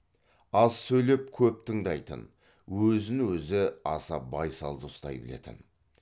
аз сөйлеп көп тыңдайтын өзін өзі аса байсалды ұстай білетін